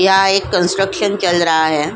यहां एक कंस्ट्रक्शन चल रहा है ।